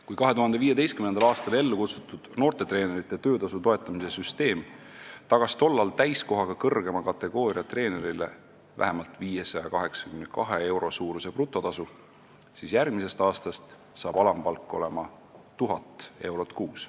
Kui 2015. aastal ellu kutsutud noortetreenerite töötasu toetamise süsteem tagas tollal täiskohaga kõrgema kategooria treenerile vähemalt 582 euro suuruse brutotasu, siis järgmisest aastast hakkab alampalk olema 1000 eurot kuus.